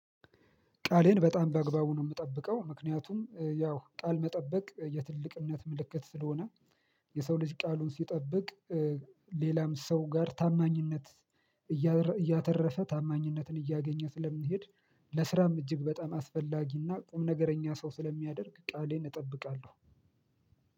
ቃሌን በጣም በአግባቡ ነው የምጠብቀው ምክንያቱም ያው ቃል መጠበቅ የትልቅነት ምልክት ስለሆነ የሰው ልጅ ቃሉን ሲጠብቅ። ሌላም ሰው ጋር ታማኝነት እያተረፈ ታማኝነትን እያገኘ ስለሚሄድ። ለስራም እጅግ በጣም አስፈላጊና ቁምነገረኛ ሰው ስለሚያደርግ ቃሌን እጠብቃለሁ